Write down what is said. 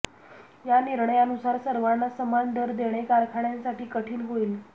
या निर्णयानुसार सर्वांना समान दर देणे कारखान्यांसाठी कठीण होईल